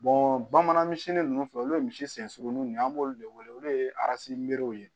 bamanan misi ninnu filɛ olu ye misi senuruninw de ye an b'olu de wele olu de ye ye